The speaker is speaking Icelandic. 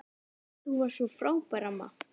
Þú varst svo frábær amma.